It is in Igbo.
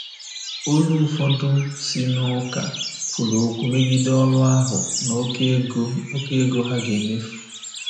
Olu ụfọdụ si n'ụka kwuru okwu megide ọrụ ahụ na oké ego oké ego ha ga-emefu.